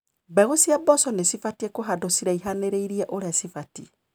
Mbegũ cia mboco cibatie kũhandwo ciraihanĩrĩirie ũria cibatie.